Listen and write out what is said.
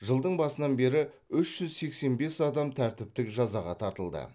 жылдың басынан бері үш жүз сексен бес адам тәртіптік жазаға тартылды